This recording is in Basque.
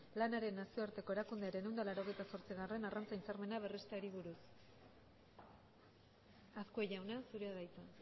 lanaren nazioarteko erakundearen ehun eta laurogeita zortzi arrantza hitzarmena berresteari buruz azkue jauna zurea da hitza